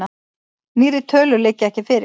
Nýrri tölur liggja ekki fyrir.